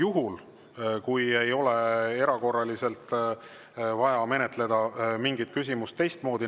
Seda juhul, kui ei ole erakorraliselt vaja menetleda mingit küsimust teistmoodi.